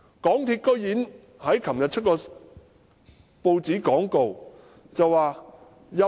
港鐵公司昨天竟然在報章刊登一段廣告，說若